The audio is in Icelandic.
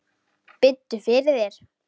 Biddu fyrir þér!